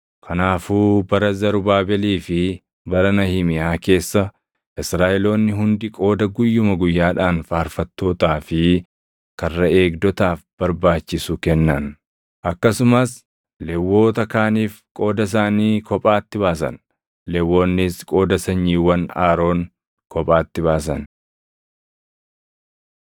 Kanaafuu bara Zarubaabelii fi bara Nahimiyaa keessa Israaʼeloonni hundi qooda guyyuma guyyaadhaan faarfattootaa fi karra eegdotaaf barbaachisu kennan. Akkasumas Lewwota kaaniif qooda isaanii kophaatti baasan; Lewwonnis qooda sanyiiwwan Aroon kophaatti baasan.